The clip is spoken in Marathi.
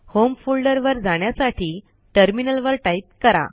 होम फोल्डरवर जाण्यसाठी टर्मिनलवर टाईप करा